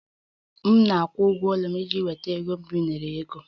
M na-akwụ ụgwọ ụlọ m iji nweta ego mgbazinye ego